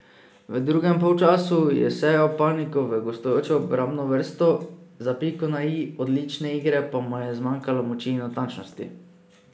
V drugem polčasu je sejal paniko v gostujočo obrambno vrsto, za piko na i odlične igre pa mu je zmanjkalo moči in natančnosti.